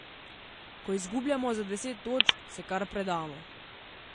Ko izgubljamo za deset točk, se kar predamo.